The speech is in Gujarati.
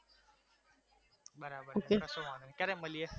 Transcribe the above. બરાબર છે કશો વાંધો નઈ ક્યારે મલીએ?